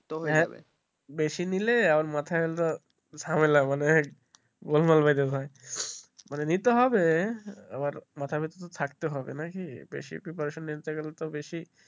বেশি নিলে মাথায় ওতো ঝামেলা মানে মানে নিতে হবে আর মাথার ভেতরে থাকতে হবে নাকি বেশি preparation নিতে গেলে তো বেশি।